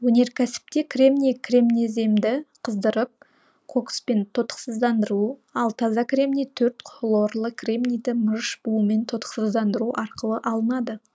өнеркәсіпте кремний кремнеземді қыздырып кокспен тотықсыздандыру ал таза кремний төрт хлорлы кремнийді мырыш буымен тотықсыздандыру арқылы алынады